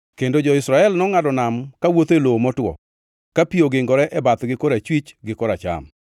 kendo jo-Israel nongʼado nam kawuotho e lowo motwo, ka pi ogingore e bathgi korachwich gi koracham.